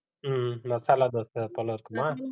ஹம் மசாலா தோசை போல இருக்குமா